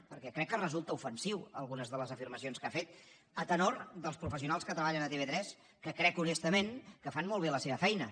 perquè crec que resulten ofensives algunes de les afirmacions que ha fet a tenor dels professionals que treballen a tv3 que crec honestament que fan molt bé la seva feina